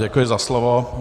Děkuji za slovo.